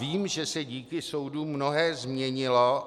Vím, že se díky soudům mnohé změnilo.